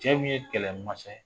Cɛ min ye kɛlɛmasa ye